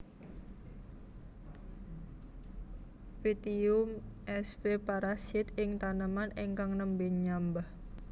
Pytium sp parasit ing taneman ingkang nembé nyambah